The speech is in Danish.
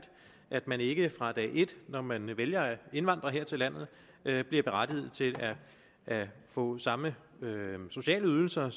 at man ikke fra dag et når man vælger at indvandre her til landet bliver berettiget til at få samme sociale ydelser